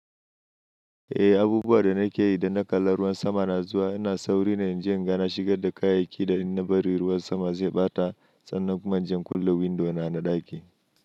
Eh, abubuwan da nake yi idan na kalla ruwan sama na zuwa ina sauri na yi jan ga na shigar da kayayyaki da in na bari ruwan sama zai ɓata, sannan kuma inje in kulle window na na ɗaki.